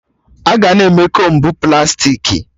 Aga na-eme Kombu plastiki